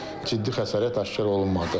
Ciddi xəsarət aşkar olunmadı.